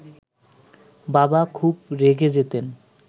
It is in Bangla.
বাবা খুব রেগে যেতেন